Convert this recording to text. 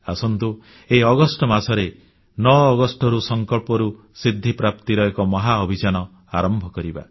ଆସନ୍ତୁ ଏହି ଅଗଷ୍ଟ ମାସରେ 9 ଅଗଷ୍ଟରୁ ସଂକଳ୍ପରୁ ସିଦ୍ଧିପ୍ରାପ୍ତିର ଏକ ମହାଅଭିଯାନ ଆରମ୍ଭ କରିବା